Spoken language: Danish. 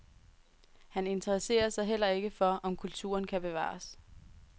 Han interesserer sig heller ikke for, om kulturen kan bevares.